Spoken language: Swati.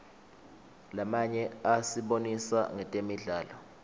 lamanye asibonisa ngetemidlalo